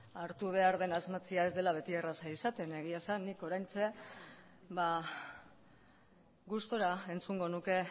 hartu behar den asmatzea ez dela beti erreza izaten egia esan nik oraintxe gustura entzungo nuke